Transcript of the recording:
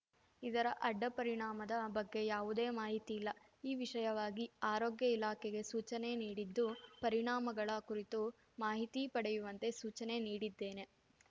ಇದರ ಅಡ್ಡ ಪರಿಣಾಮದ ಬಗ್ಗೆ ಯಾವುದೇ ಮಾಹಿತಿ ಇಲ್ಲ ಈ ವಿಷಯವಾಗಿ ಆರೋಗ್ಯ ಇಲಾಖೆಗೆ ಸೂಚನೆ ನೀಡಿದ್ದು ಪರಿಣಾಮಗಳ ಕುರಿತು ಮಾಹಿತಿ ಪಡೆಯುವಂತೆ ಸೂಚನೆ ನೀಡಿದ್ದೇನೆ